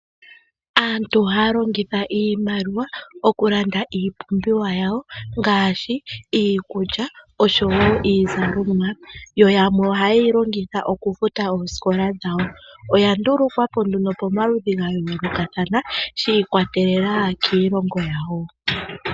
Aantu ohaya longitha iimaliwa oku landa iipumbiwa yawo ngaashi, iikulya osho wo iizalomwa, yo yamwe oha yeyi longitha oku futa oosikola dhawo. Oya ndulukwapo nduno pomaludhi ga yoolokathana, shi ikwatelela kiilongo yawo.